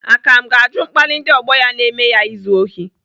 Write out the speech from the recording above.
Akam ga-ajụ mkpali ndị ọgbọ ya na-eme ya izu ohi.